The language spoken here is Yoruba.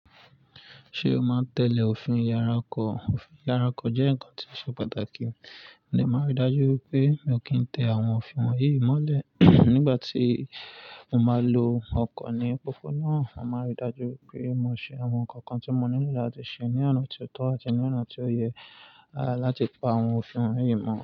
Ṣé o máa ń tẹ́lẹ̀ òfin ìyára ọkọ̀? Òfin ìyára ọkọ̀ jẹ́ nǹkan tí ó ṣe pàtàkì. Mo dè máa rí i dájú pé mi ò kí ń tẹ àwọn òfin wọ̀nyí mọ́lẹ̀ nígbà tí mo máa lo ọkọ̀ ní opopona. Mo máa rí i dájú pé mo ṣe àwọn nǹkan kan tí mo nílò láti ṣe ní ọ̀nà tó tọ́ àti ní ọ̀nà tó yẹ láti pa àwọn òfin wọ̀nyí mọ̀.